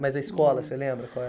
Mas a escola, você lembra qual é?